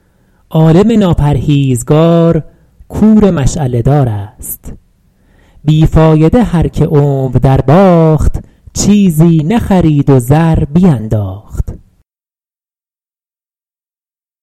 عالم ناپرهیزگار کور مشعله دار است بی فایده هر که عمر در باخت چیزی نخرید و زر بینداخت